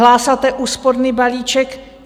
Hlásáte úsporný balíček.